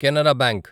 Canara bank